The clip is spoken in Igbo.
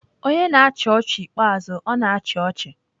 Onye na-achị ọchị ikpeazụ, ọ na-achị ọchị.